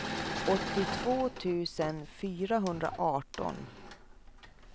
åttiotvå tusen fyrahundraarton